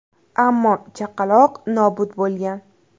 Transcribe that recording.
Ammo chaqaloq nobud bo‘lgan.